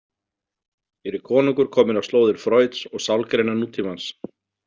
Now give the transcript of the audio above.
Hér er konungur kominn á slóðir Freuds og sálgreina nútímans.